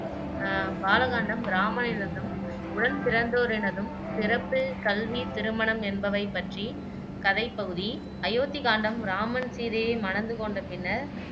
அஹ் பால காண்டம் இராமனினதும் உடன்பிறந்தோரினதும் பிறப்பு, கல்வி, திருமணம் என்பவை பற்றிய கதைப் பகுதி அயோத்தி காண்டம் இராமன் சீதையை மணந்து கொண்ட பின்னர்